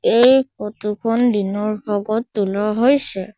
এই ফটো খন দিনৰ ভাগত তোলা হৈছে।